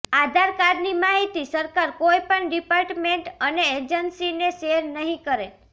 આધાર કાર્ડની માહિતી સરકાર કોઈપણ ડિપાર્ટમેંટ અને એજંસીને શેયર નહી કરે